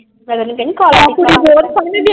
ਮੈਂ ਤੈਨੂੰ ਕਹਿੰਦੀ।